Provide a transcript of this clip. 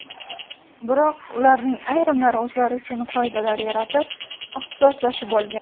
Biroq ularning ayrimlari o‘zlari uchun qoidalar yaratib, ixtisoslashib olgan.